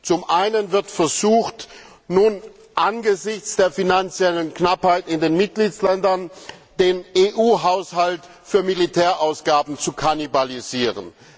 Zum einen wird versucht, nun angesichts der finanziellen Knappheit in den Mitgliedstaaten den EU Haushalt für Militärausgaben zu kannibalisieren.